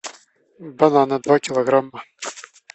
бананы два килограмма